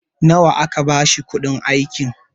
nawa aka bashi kuɗin aikin?